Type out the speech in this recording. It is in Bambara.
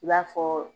I b'a fɔ